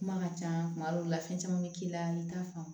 Kuma ka ca kuma dɔw la fɛn caman bɛ k'i la i t'a faamu